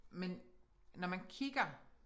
Men når man kigger